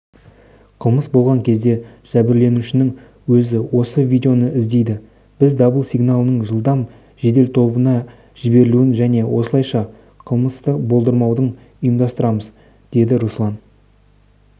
қылмыс болған кезде жәбірленушінің өзі осы видеоны іздейді біз дабыл сигналдың жылдам жеделтобына жіберілуін және осылайша қылмысты болдырмауды ұйымдастырамыз деді руслан